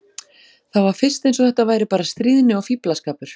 Það var fyrst eins og þetta væri bara stríðni og fíflaskapur.